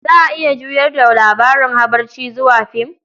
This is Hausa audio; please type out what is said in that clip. Za a iya juyar da labarin habarce zuwa film.